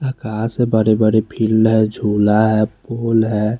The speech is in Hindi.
अकाश है बड़े बड़े फिल्ड है जुला है फुल है।